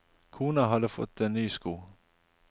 Kona hadde fått en ny sko.